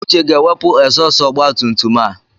Uche ga-ewepụ egzọọst ọgbatumtum a.